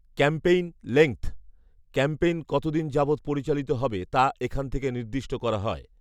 campaign length campaign কতদিন যাবত পরিচালিত হবে তা এখান খেকে নির্দিষ্ট করা হয়